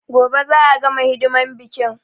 Gobe za a gama hidiman biƙin